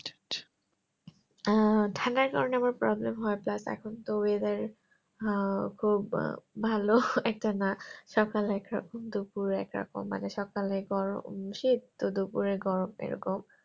আহ ঠান্ডার কারণে আমার problem হয় plus এখন তো Weather আহ খুব ভালো একটা না সকাল একরকম দুপুর একরকম মানে সকালে গরম শীত তো দুপুরে গরম এ রকম